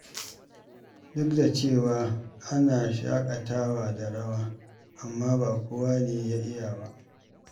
Duk da cewa ana shaƙatawa da rawa, amma ba kowa ne ya iya ba.